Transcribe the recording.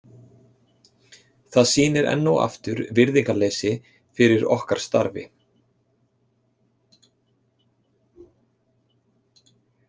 Það sýnir enn og aftur virðingarleysi fyrir okkar starfi.